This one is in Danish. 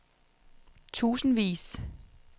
tusindvis